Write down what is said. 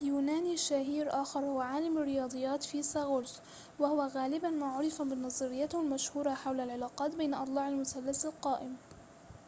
يونانيٌ شهيرٌ آخر هو عالم الرياضيات فيثاغورس وهو غالباً ما عُرف بنظريته المشهورة حول العلاقات بين أضلاع المثلث القائم